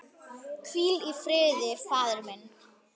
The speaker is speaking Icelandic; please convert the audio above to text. Hvíl í friði faðir minn.